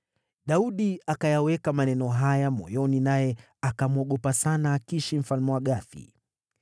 Daudi akayaweka maneno haya moyoni naye akamwogopa sana Akishi mfalme wa Gathi.